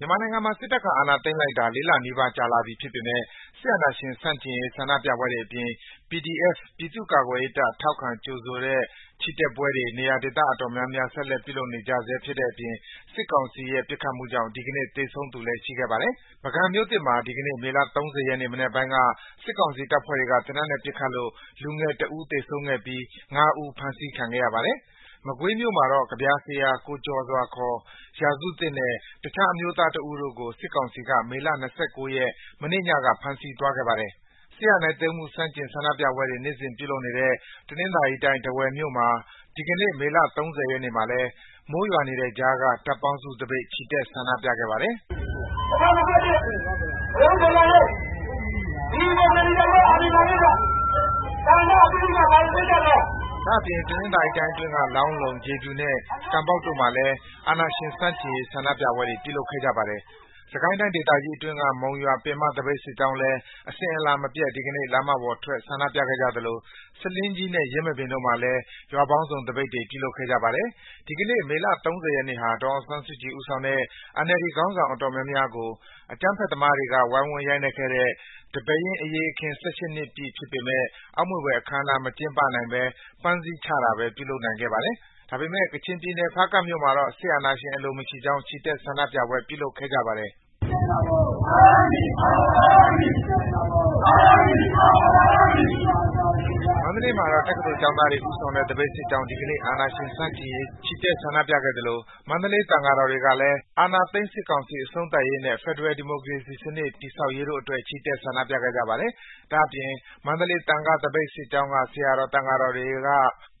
မြန်မာနိုင်ငံမှာ စစ်တပ်က အာဏာသိမ်းလိုက်တာ ၄ လနီးပါး ကြာလာပြီဖြစ်ပေမယ့် အာဏာရှင်ဆန့်ကျင်ရေး ဆန္ဒပြပွဲတွေအပြင် NUG အမျိုးသားညီညွတ်ရေးအစိုးရဖွဲ့တဲ့ PDF ပြည်သူ့ကာကွယ်ရေးတပ် ထောက်ခံကြိုဆိုတဲ့ ချီတက်ပွဲတွေ နေရာဒေသ အတော်များများ ဆက်လက်ပြုလုပ်နေကြရာမှာ စစ်ကောင်စီရဲ့ ပစ်ခတ်မှုကြောင့် ဒီကနေ့ သေဆုံးသူလည်း ရှိခဲ့ပါတယ်။ ပုဂံမြို့သစ်မှာ ဒီကနေ့ မေလ ၃၀ ရက် မနက်ပိုင်းက စစ်ကောင်စီတပ်ဖွဲ့တွေက သေနတ်နဲ့ပစ်ခတ်လို့ လူငယ်အမျိုးသား ၁ ဦး သေဆုံးခဲ့ပြီး ၅ ဦး အဖမ်းခံခဲ့ရပါတယ်။ မကွေးမြို့မှာတော့ ကဗျာဆရာ ကိုကျော်စွာ (ခေါ်) ရာစုသစ်နဲ့ တခြား အမျိုးသားတဦးတို့ကို စစ်ကောင်စီက မေလ ၂၉ ရက် မနေ့ညက ဖမ်းဆီးသွားပါတယ်။ စစ်အာဏာသိမ်းမှု ဆန့်ကျင်ဆန္ဒပြပွဲတွေ နေ့စဉ်ပြုလုပ်နေတဲ့ တနင်္သာရီတိုင်း ထားဝယ်မြို့မှာ ဒီကနေ့ မေလ ၃၀ ရက်နေ့မှာလည်း မိုးရွာနေတဲ့ကြားက တပ်ပေါင်းစုသပိတ် ချီတက် ဆန္ဒပြခဲ့ပါတယ်။ ဒါ့အပြင် တနင်္သာရီတိုင်းအတွင်းက လောင်းလုံ၊ ရေဖြူနဲ့ ကန်ပေါက်တို့မှာလည်း အာဏာရှင်ဆန့်ကျင်ရေး ဆန္ဒပြပွဲတွေ ပြုလုပ်ခဲ့ကြပါတယ်။ စစ်ကိုင်းတိုင်းဒေသကြီးအတွင်းက မုံရွာ ပင်မသပိတ်စစ်ကြောင်းလည်း လမ်းမတွေပေါ်ထွက် ဆန္ဒပြခဲ့ကြသလို ဆားလင်းကြီးနဲ့ ယင်းမာပင်တို့မှာလည်း ရွာပေါင်းစုံသပိတ်တွေ ပြုလုပ်ခဲ့ကြပါတယ်။ ဒီကနေ့ မေလ ၃၀ ရက်နေ့ဟာ ဒေါ်အောင်ဆန်းစုကြည် ဦးဆောင်တဲ့ NLD ခေါင်းဆောင် အတော်များများကို အကြမ်းဖက်သမားတွေက ဝိုင်းဝန်းရိုက်နှက်ခဲ့တဲ့ ဒီပဲယင်းအရေးအခင်း ၁၈ နှစ်ပြည့်ဖြစ်ပေမယ့် အောက်မေ့ဖွယ်အခမ်းအနား မကျင်းပနိုင်ဘဲ ပန်းစည်းချတာပဲ ပြုလုပ်နိုင်ခဲ့ပါတယ်။ ကချင်ပြည်နယ်၊ ဖားကန့်မြို့မှာတော့ စစ်အာဏာရှင် အလိုမရှိကြောင်း ချီတက် ဆန္ဒပြပွဲ ပြုလုပ်ခဲ့ကြပါတယ်။ မန္တလေးမှာတော့ တက္ကသိုလ်ကျောင်းသားတွေ ဦးဆောင်တဲ့ သပိတ်စစ်ကြောင်း ဒီကနေ့ စစ်အာဏာရှင်ဆန့်ကျင်ရေး ချီတက် ဆန္ဒပြခဲ့ကြသလို မန္တလေး သံဃာတော်တွေကလည်း အာဏာသိမ်းစစ်ကောင်စီ အဆုံးသတ်ရေးနဲ့ ဖက်ဒရယ် ဒီမိုကရေစီစနစ် တည်ဆောက်ရေးတို့အတွက် ချီတက် ဆန္ဒပြခဲ့ကြပါတယ်။ ဒါ့အပြင် မန္တလေး သံဃသမဂ္ဂစစ်ကြောင်းက ဆရာတော် သံဃာတော်တွေက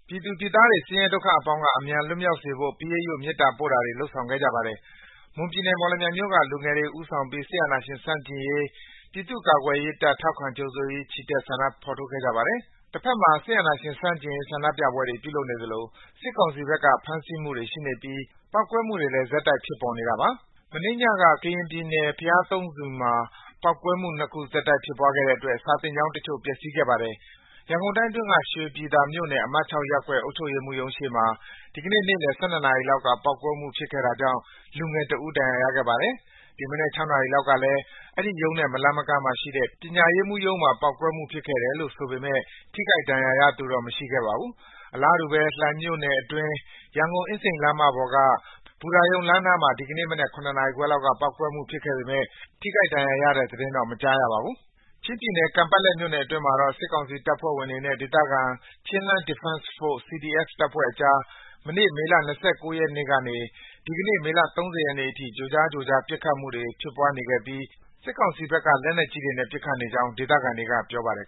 ပြည်သူပြည်သားတွေ ဆင်းရဲဒုက္ခအပေါင်းက အမြန်လွတ်မြောက်စေဖို့ ပရိတ်ရွတ် မေတ္တာပို့တာတွေ လုပ်ဆောင်ခဲ့ကြပါတယ်။ မွန်ပြည်နယ်၊ မော်လမြိုင်မြို့က လူငယ်တွေ ဦးဆောင်ပြီး စစ်အာဏာရှင်ဆန့်ကျင်ရေး၊ ပြည်သူ့ကာကွယ်ရေးတပ် ထောက်ခံကြိုဆိုရေး ချီတက် ဆန္ဒဖော်ထုတ်ခဲ့ကြပါတယ်။ တဖက်မှာ အာဏာရှင်ဆန့်ကျင်ရေး ဆန္ဒပြပွဲတွေ ပြုလုပ်နေသလို စစ်ကောင်စီဘက်က ဖမ်းဆီးမှုတွေရှိနေပြီး ပေါက်ကွဲမှုတွေလည်း ဆက်တိုက် ဖြစ်ပေါ်နေတာပါ။ မနေ့ညက ကရင်ပြည်နယ်၊ ဘုရားသုံးဆူမှာ ပေါက်ကွဲမှု ၂ ခု ဆက်တိုက် ဖြစ်သွားခဲ့တဲ့အတွက် စာသင်ကျောင်းတချို့ ပျက်စီးခဲ့ပါတယ်။ ရန်ကုန်တိုင်းအတွင်းက ရွှေပြည်သာမြို့နယ် အမှတ် ၆ ရပ်ကွက် အုပ်ချုပ်ရေးမှူးရုံးရှေ့မှာ ဒီကနေ့ နေ့လယ် ၁၂ နာရီလောက်က ပေါက်ကွဲမှုဖြစ်ခဲ့တာကြောင့် ကလေးငယ်တဦး ဒဏ်ရာရခဲ့ပါတယ်။ ဒီမနက် ၆ နာရီလောက်ကလည်း အဲဒီရုံးနဲ့ မလှမ်းမကမ်းမှာရှိတဲ့ ပညာရေးမှူးရုံးမှာ ပေါက်ကွဲမှု ဖြစ်ခဲ့တယ်လို့ ဆိုပေမယ့် ထိခိုက်ဒဏ်ရာရသူတော့ မရှိခဲ့ပါဘူး။ အလားတူပဲ လှိုင်မြို့နယ်အတွင်း ရန်ကုန်-အင်းစိန်လမ်းမပေါ်က ဘူတာရုံလမ်းနားမှာ ဒီကနေ့မနက် ၇ နာရီခွဲလောက်က ပေါက်ကွဲမှု ဖြစ်ခဲ့ပေမယ့် ထိခိုက်ဒဏ်ရာရတဲ့ သတင်းတော့ မကြားရပါဘူး။ ချင်းပြည်နယ်၊ ကန်ပက်လက်မြို့နယ်အတွင်းမှာတော့ စစ်ကောင်စီ တပ်ဖွဲ့ဝင်တွေနဲ့ ဒေသခံ Chinland Defense Force (CDF) တပ်ဖွဲ့ကြား မနေ့ မေလ ၂၉ ရက်ကနေ ဒီကနေ့ မေလ ၃၀ ရက်နေ့အထိ ကြိုးကြား ကြိုးကြား ပစ်ခတ်မှု စတင်ဖြစ်ပွားနေခဲ့ပြီး စစ်ကောင်စီဘက်က လက်နက်ကြီးတွေနဲ့ ပစ်ခတ်နေကြောင်း ဒေသခံတွေက ပြောပါတယ်